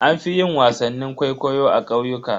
An fi yin wasannin kwaikwayo a ƙauyuka.